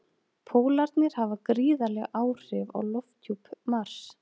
Pólarnir hafa gríðarleg áhrif á lofthjúp Mars.